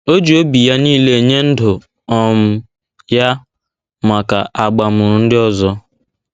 O ji obi ya niile nye ndụ um ya maka abamuru ndị ọzọ.